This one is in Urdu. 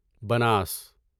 بناس